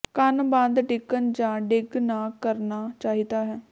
ਕੰਨ ਬੰਦ ਡਿੱਗਣ ਜ ਡਿੱਗ ਨਾ ਕਰਨਾ ਚਾਹੀਦਾ ਹੈ